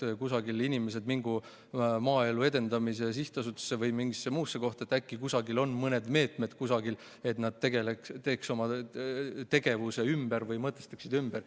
Inimesed mingu Maaelu Edendamise Sihtasutusse või mingisse muusse kohta, äkki kusagil on mõned meetmed, et nad korraldaks oma tegevuse ümber või mõtestaks ümber.